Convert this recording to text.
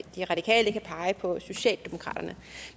de radikale kan pege på socialdemokraterne